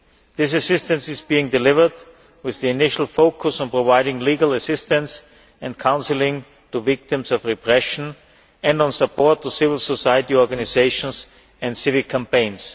This assistance is being delivered with the initial focus on providing legal assistance and counselling to victims of repression and on support to civil society organisations and civic campaigns.